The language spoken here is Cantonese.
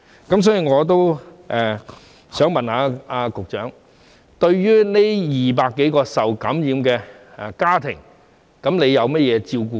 因此，我想問局長，對於這200多宗個案涉及的家庭，僱主獲提供甚麼照顧呢？